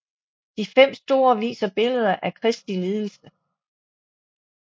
De fem store viser billeder af Kristi lidelse